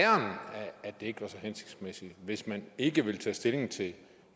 at det ikke var så hensigtsmæssigt hvis man ikke vil tage stilling til